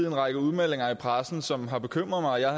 en række udmeldinger i pressen som har bekymret mig jeg